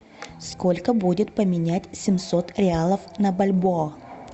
сколько будет поменять семьсот реалов на бальбоа